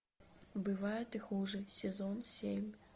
бывает и хуже сезон семь